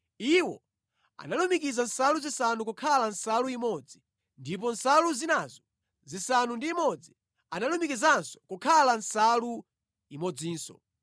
Iwo analumikiza nsalu zisanu kukhala nsalu imodzi ndipo nsalu zinazo zisanu ndi imodzi, analumikizanso kukhala nsalu imodzinso.